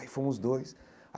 Aí fomos dois.